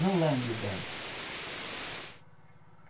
Não lambe o gado.